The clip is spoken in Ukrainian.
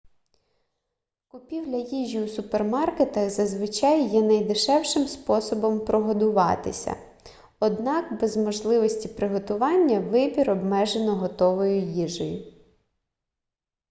купівля їжі у супермаркетах зазвичай є найдешевшим способом прогодуватися однак без можливості приготування вибір обмежено готовою їжею